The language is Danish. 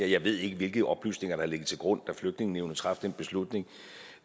jeg ved ikke hvilke oplysninger der har ligget til grund da flygtningenævnet traf den beslutning